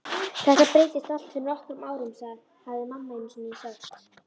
Þetta breyttist allt fyrir nokkrum árum, hafði mamma einusinni sagt.